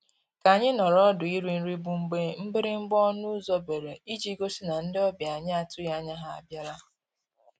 K'anyị nọọrọ ọdụ iri nri bụ mgbe mgbịrịgba ọnụ ụzọ bere iji gosi na ndị ọbịa anyị atụghị anya ha abịala